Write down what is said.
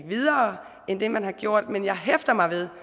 videre end det man har gjort men jeg hæfter mig ved